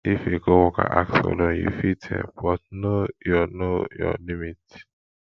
if a coworker ask for loan you fit help but know your know your limits